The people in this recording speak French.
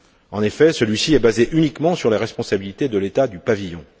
En effet, celui ci est basé uniquement sur les responsabilités de l'État du pavillon.